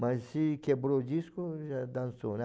Mas se quebrou o disco, já dançou, né?